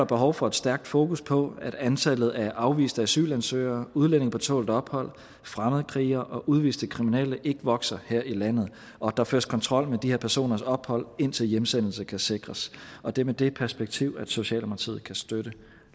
behov for et stærkt fokus på at antallet af afviste asylansøgere udlændinge på tålt ophold fremmedkrigere og udviste kriminelle ikke vokser her i landet og at der føres kontrol med de her personers ophold indtil hjemsendelse kan sikres og det er med det perspektiv at socialdemokratiet kan støtte